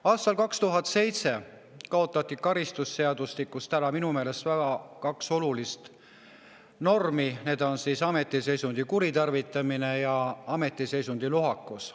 Aastal 2007 kaotati karistusseadustikust ära kaks minu meelest väga olulist normi, need on ametiseisundi kuritarvitamine ja ameti lohakus.